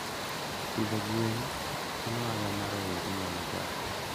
Pidho gwen en ohala ma rowere nyalo chako.